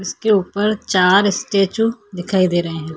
इसके ऊपर चार स्टैचू दिखाई दे रहै हैं।